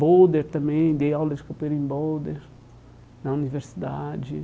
Boulder também, dei aula de copeira em Boulder, na universidade.